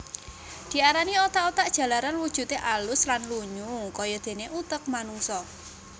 Diarani otak otak jalaran wujude alus lan lunyu kayadene utek manungsa